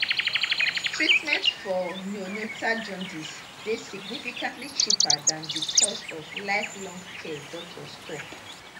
treatment for neonatal jaundice dey significantly cheaper dan di cost of lifelong care doctors tok